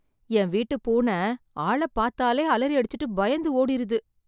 என் வீட்டுப் பூன ஆள பாத்தாலே அலறி அடிச்சுட்டு பயந்து ஓடிருது.